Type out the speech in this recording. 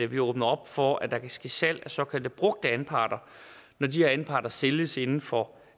vi åbner op for at der kan ske salg af såkaldte brugte anparter når de anparter sælges inden for